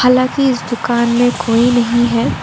हालांकि इस दुकान में कोई नहीं है।